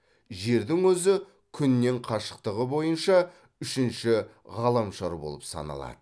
жердің өзі күннен қашықтығы бойынша үшінші ғаламшар болып саналады